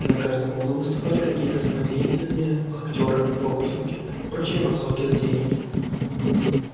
на каждом углу выступали какие-то самодеятельные актёры фокусники прочие массовки-затейники